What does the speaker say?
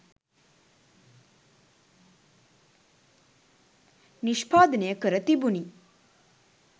නිෂ්පාදනය කර තිබුණි.